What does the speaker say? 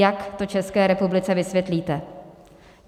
Jak to České republice vysvětlíte?